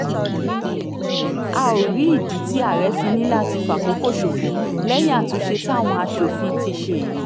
a ó rí ìdí tí àárẹ̀ fi ní láti fàkókò ṣòfò lẹ́yìn àtúnṣe táwọn asòfin ti ṣe yìí